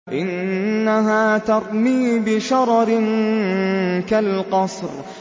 إِنَّهَا تَرْمِي بِشَرَرٍ كَالْقَصْرِ